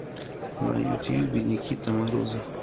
на ютьюбе никита морозов